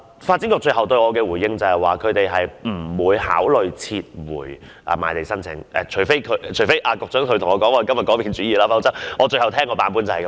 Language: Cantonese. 發展局給我的回應是不會考慮撤回該項賣地申請，除非局長今天告訴我他已改變主意，否則我得到的最後版本就是如此。